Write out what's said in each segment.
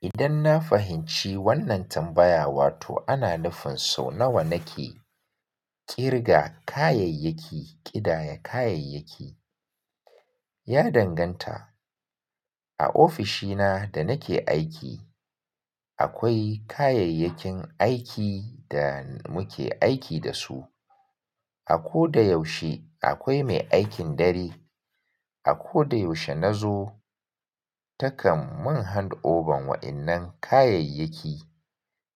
Idan na fahimci wannan tambaya wato ana nufin so nawa nake ƙirga kayayyaki, ƙidaya kayayyaki. Ya danganta. A ofishina da nake aiki akwai kayayyakin aiki da muke aiki da su. A ko da yaushe akwai mai aikin dare. A ko da yaushe na zo takan mun hand over wayannan kayayyaki.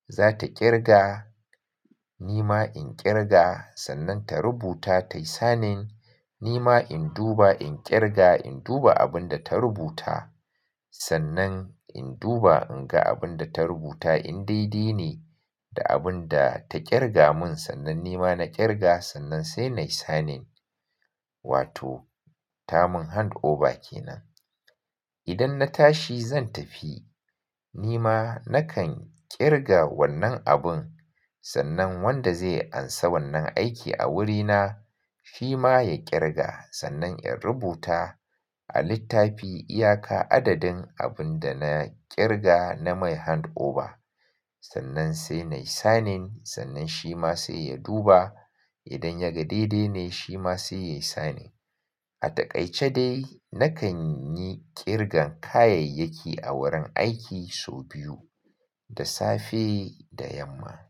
Zata ƙirga, nima in ƙirga sannan ta rubuta, tayi signing, nima in duba, in ƙirga, in duba abun da ta rubuta. Sannan in duba in ga abun da ta rubuta in dai-dai ne da abun da ta ƙirga mun sannan nima na ƙirga sannan sai nayi signing. Wato ta mun hand over kenan. Idan na tashi zan tafi nima nakan ƙirga wannan abun sannan wanda zai ansa wannan aiki a wurina shi ma ya ƙirga sannan in rubuta a littafi iyaka adadin abun da na ƙirga na mai hand over. Sannan sai nayi signing sannan shi ma sai ya duba. Idan ya ga daidai ne shi ma sai yayi signing. A takaice dai nakan yi ƙirga kayayyaki a wurin aiki sau biyu, da safe da yamma.